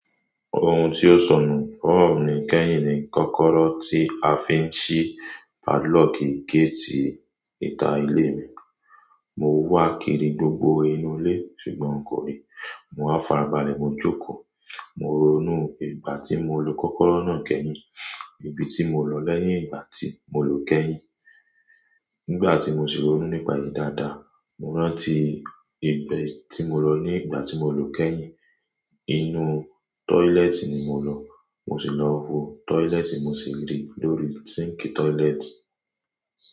Ohun tí ó sọnù lowo mi ni kẹ́yìn ni kọ́kọ́rọ́ tí a fi ń ṣí padlock géètì ìta ilé mi. Mo wá kiri gbogbo inú ilé ṣùgbọ́n n kò rí. Mo wa farabalẹ̀, mo jókòó. Mo ronú ìgbà tí mo lo kọ́kọ́rọ́ náà kẹ́yìn. Ibi tí mo lọ lẹ́yìn ìgbà tí mo lo kẹ́yìn. Nígbà tí mo sì ronú nípa èyí dáadáa, mo rántí ibi tí mo lọ ní ìgbà tí mo lo kẹ́yìn. Inú tọ́ilet ì ni mo lọ. Mo sì lọ wo toilet, mo sì rí i lórí síńki tọ́yílẹ́tì.